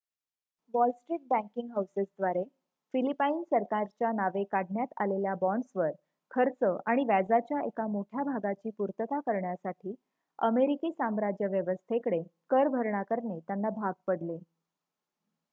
wall Street banking हाऊसेसद्वारे Philippine सरकारच्या नावे काढण्यात आलेल्या बाँड्सवर खर्च आणि व्याजाच्या एका मोठ्या भागाची पूर्तता करण्यासाठी अमेरिकी साम्राज्य व्यवस्थेकडे कर भरणा करणे त्यांना भाग पडले